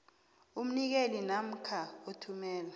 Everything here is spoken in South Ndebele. umnikeli namkha othumela